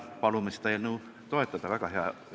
Palume seda eelnõu toetada, see on väga hea eelnõu.